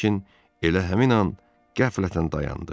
Lakin elə həmin an qəflətən dayandı.